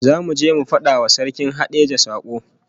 Zamu je mu fada wa Sarkin Hadejia sakon